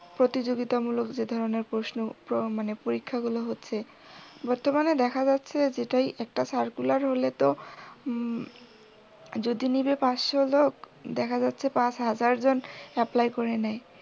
প্রতিযোগিতামূলক যে ধরনের প্রশ্ন প্র মানে পরীক্ষাগুলো বর্তমানে দেখা যাচ্ছে যেটা একটা circular হলে তো হম যদি নিবে পাঁচশো লোক দেখা যাচ্ছে পাঁচ হাজার জন apply করে নেয়।